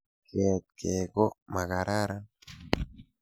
Keet kei ko makararan.